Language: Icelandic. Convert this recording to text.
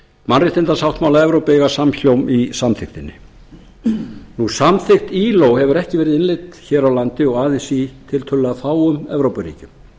mannréttindasáttmála evrópu eiga samhljóm í samþykktinni samþykkt ilo hefur ekki verið innleidd hér á landi og aðeins í tiltölulega fáum evrópuríkjum